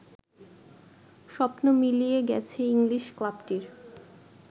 স্বপ্ন মিলিয়ে গেছে ইংলিশ ক্লাবটির